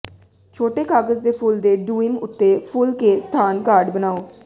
ਛੋਟੇ ਕਾਗਜ਼ ਦੇ ਫੁੱਲ ਦੇ ਡੂਇਮ ਉੱਤੇ ਫੁੱਲ ਕੇ ਸਥਾਨ ਕਾਰਡ ਬਣਾਓ